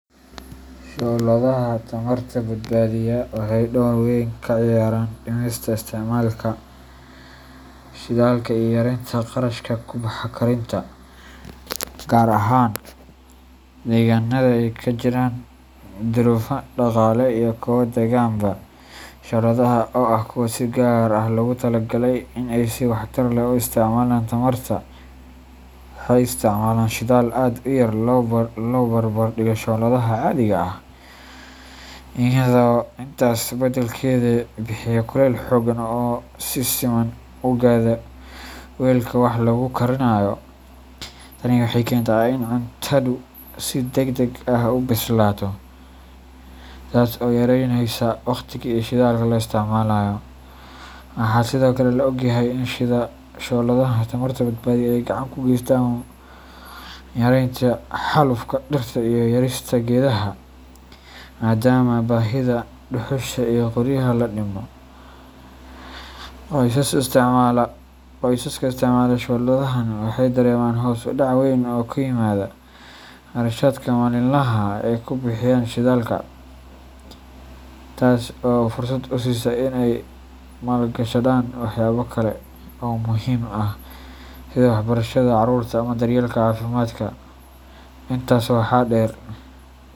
Shooladaha tamarta badbaadiya waxay door weyn ka ciyaaraan dhimista isticmaalka shidaalka iyo yareynta kharashka ku baxa karinta, gaar ahaan deegaanada ay ka jiraan duruufo dhaqaale iyo kuwo deegaanba. Shooladahan oo ah kuwa si gaar ah loogu talagalay in ay si waxtar leh u isticmaalaan tamarta, waxay isticmaalaan shidaal aad u yar marka loo barbardhigo shooladaha caadiga ah, iyaga oo intaas beddelkeeda bixiya kuleyl xooggan oo si siman u gaadha weelka wax lagu karinayo. Tani waxay keentaa in cuntadu si degdeg ah u bislaato, taas oo yareyneysa waqtiga iyo shidaalka la isticmaalayo. Waxaa sidoo kale la ogyahay in shooladaha tamarta badbaadiya ay gacan ka geystaan yareynta xaalufka dhirta iyo jarista geedaha, maadaama baahida dhuxusha iyo qoryaha la dhimo. Qoysaska isticmaala shooladahan waxay dareemaan hoos u dhac weyn oo ku yimaada kharashaadka maalinlaha ah ee ay ku bixiyaan shidaalka, taas oo fursad u siisa in ay maalgashadaan waxyaabo kale oo muhiim ah sida waxbarashada carruurta ama daryeelka caafimaadka. Intaa waxaa dheer.